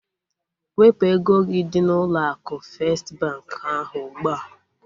Wepụ ego gị dị n'ụlọ akụ festi bankị ahụ ugbua!